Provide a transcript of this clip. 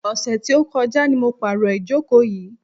Ọ̀sẹ̀ tí ó kọjá ni mo pàrò ìjókò yìí.